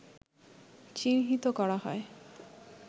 চিহ্নিত করা হয়